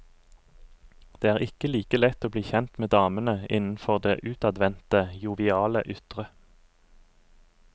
Det er ikke like lett å bli kjent med damen innenfor det utadvendte, joviale ytre.